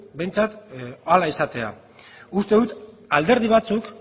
behintzat ala izatea uste dut alderdi batzuk